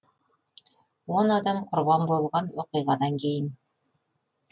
он адам құрбан болған оқиғадан кейін